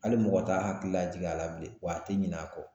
Hali mɔgɔ t'a hakili lajigin a la bilen, wa a tɛ ɲin'a kɔ